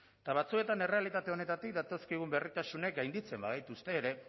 eta batzuetan errealitate honetatik datozkigun berritasunek gainditzen bagaituzte ere